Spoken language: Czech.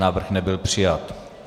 Návrh nebyl přijat.